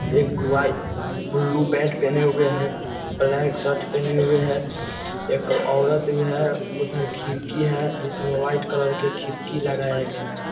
एक white blue pant पहने हुए है ब्लैक शर्ट पहने हुए है एक औरत भी है उधर खिड़की है जिसमें व्हाइट कलर के खिड़की लगाया गया --